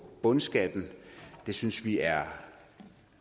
bundskatten synes vi er